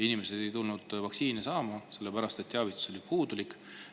Inimesed ei tulnud vaktsiini saama, sellepärast et teavitus oli puudulik.